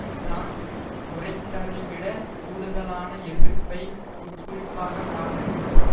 தான் உரைத்ததைவிடக் கூடுதலான எதிர்ப்பை உட்குறிப்பாகக் காட்ட நினைத்தார்